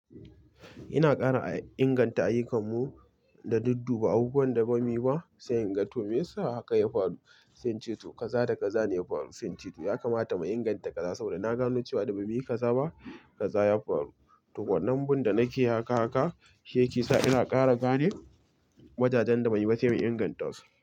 Ina ƙara inganta ayyukanmu da dudduba, abubuwan da ba mi ba. Sai in ga, to me yasa haka ya faru? Sai in ce to kaza, da kaza ne ya faru. Sai in ce to ya kamata mu inganta kaza saboda na gano cewa da ba mu yi kaza ba, kaza ya faru. To wannan bin da nake haka haka shi yake sa ina ƙara gane wajajen da ban yi ba sai in ingantasu.